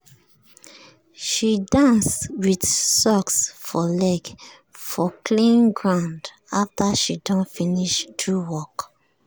she dance with sock for leg for clean ground after she don finish do work.